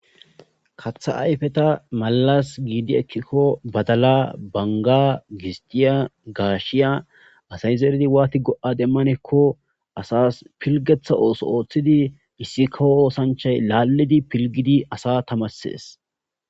Katha ayfeta maalas giidi ekkikko badala banga gistiya gaashiya asay zeeridi waati go'a demmanekko asas pilgetha ooso ooththidi issi kahoosanchay laalidi pilgidi asa tamarssees.